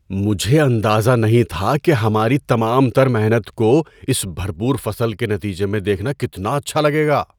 مجھے اندازہ نہیں تھا کہ ہماری تمام تر محنت کو اس بھرپور فصل کے نتیجے میں دیکھنا کتنا اچھا لگے گا۔